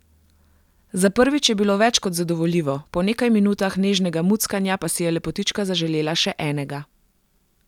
Za prvič je bilo več kot zadovoljivo, po nekaj minutah nežnega muckanja pa si je lepotička zaželela še enega.